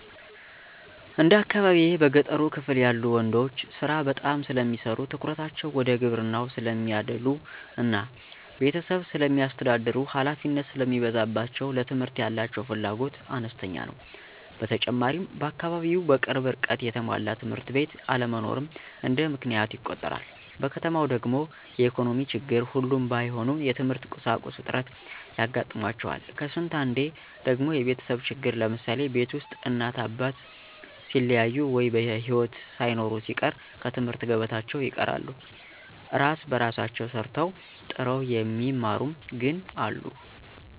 እንደ አካባቢየ በገጠሩ ክፍል ያሉ ወንዶች ስራ በጣም ስለሚሰሩ ትኩረታቸው ወደ ግብርናው ስለሚያዳሉ እና ቤተሰብ ስለሚያስተዳድሩ ሀላፊነት ስለሚበዛባቸው ለትምህርት ያላቸው ፍላጎት አነስተኛ ነው። በተጨማሪም በአካባቢው በቅርብ ርቀት የተሟላ ትምህርት ቤት አለመኖርም እንደ ምክንያት ይቆጠራል። በከተማው ደግሞ የኢኮኖሚ ችግር ሁሉም ባይሆኑ የትምህርት ቁሳቁስ እጥረት ያጋጥማቸዋል ከስንት አንዴ ደግሞ የቤተሰብ ችግር ለምሳሌ፦ ቤት ውስጥ እናት አባት ሲለያዩ ወይ በሒወት ሳይኖሩ ሲቀር ከትምህርት ገበታቸው ይርቃሉ። እራስ በራሳቸው ሰርተው ጥረው የሚማሩም ግን አሉ።